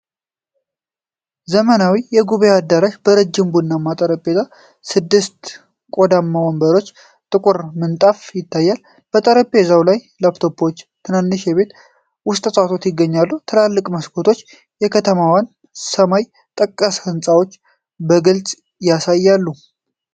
ዘመናዊ የጉባኤ አዳራሽ በረጅም ቡናማ ጠረጴዛ፣ ስድስት ቆዳማ ወንበሮችና ጥቁር ምንጣፍ ይታያል። በጠረጴዛው ላይ ላፕቶፖችና ትናንሽ የቤት ውስጥ እፅዋት ይገኛሉ። ትላልቅ መስኮቶች የከተማዋን ሰማይ ጠቀስ ሕንፃዎች በግልጽ ያሳያሉ።